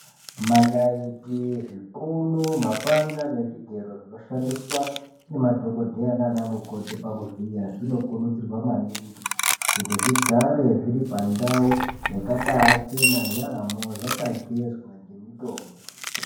Manaiti zvipunu mapanga nezvigero zvinoshandiswa ngemadhokodheya nana mukoti pakuvhiya zvinokurudzirwa kuti zvigare zviri pandau yakabachena yaamho zvakagezwa ngemutombo.